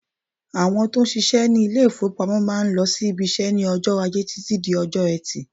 Àwọn tó ń ṣiṣẹ́ ní ilé-ìfowópamọ́ máà ń lọ sí ibiṣẹ́ ní ọjọ́ Ajẹ́ títí di ọjọ́ Ẹtì.